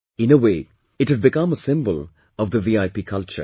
In a way it had become a symbol of the VIP culture